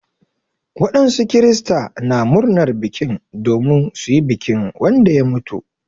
Wadansu kirista na murnar bikin domin su yi bikin Wanda ya mutu.